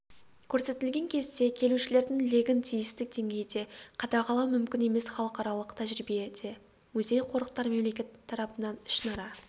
көрсетілген кезде келушілердің легін тиісті деңгейде қадағалау мүмкін емес халықаралық тәжірибеде музей-қорықтар мемлекет тарапынан ішінара